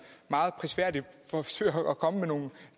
meget prisværdigt forsøger at komme med nogle